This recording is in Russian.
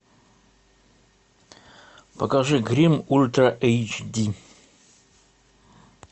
покажи гримм ультра эйч ди